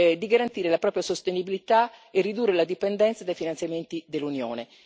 di garantire la propria sostenibilità e ridurre la dipendenza dai finanziamenti dell'Unione.